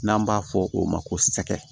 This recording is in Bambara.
N'an b'a fɔ o ma ko sɛgɛ